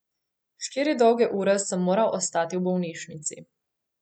Štiri dolge ure sem moral ostati v bolnišnici.